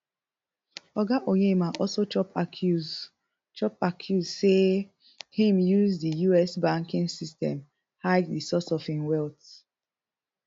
oga onyema also chop accuse chop accuse say e use di us banking system hide di source of im wealth